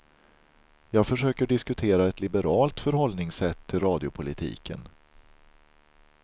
Jag försöker diskutera ett liberalt förhållningssätt till radiopolitiken.